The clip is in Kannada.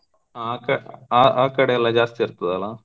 ಆಕ ಆ ಆಕಡೆ ಎಲ್ಲಾ ಜಾಸ್ತಿ ಇರ್ತದಲ್ಲ.